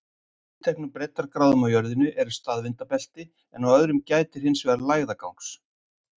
Á tilteknum breiddargráðum á jörðinni eru staðvindabelti, en á öðrum gætir hins vegar mikið lægðagangs.